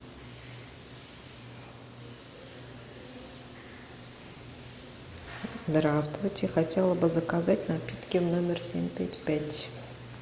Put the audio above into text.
здравствуйте хотела бы заказать напитки в номер семь пять пять